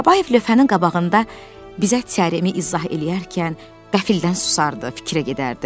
Babayev lövhənin qabağında bizə teoremi izah eləyərkən qəfildən susardı, fikrə gedərdi.